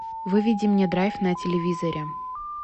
выведи мне драйв на телевизоре